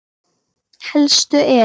Helstu eru